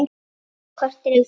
Korter yfir fjögur.